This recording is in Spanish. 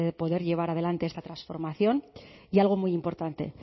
poder llevar adelante esta transformación y algo muy importante